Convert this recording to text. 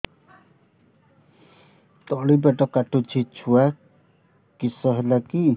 ତଳିପେଟ କାଟୁଚି ଛୁଆ କିଶ ହେଲା କି